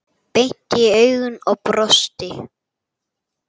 Beint í augun og brosti.